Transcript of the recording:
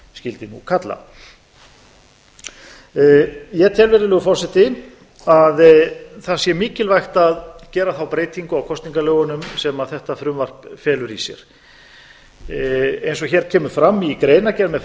skyldi nú kalla ég tel virðulegur forseti að það sé mikilvægt að gera þá breytingu á kosningalögunum sem þetta frumvarp felur í sér eins og hér kemur fram í greinargerð með